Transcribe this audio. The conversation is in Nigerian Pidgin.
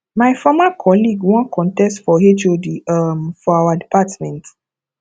my former colleague wan contest for hod um of our department